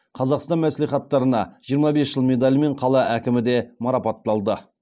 қазақстан мәслихаттарына жиырма бес жыл медалімен қала әкімі де марапатталды